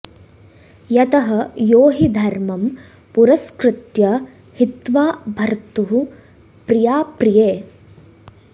यतः यो हि धर्मं पुरस्कृत्य हित्वा भर्तुः प्रियाप्रिये